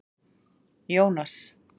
Jónas